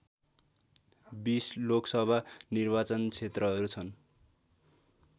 २० लोकसभा निर्वाचन क्षेत्रहरू छन्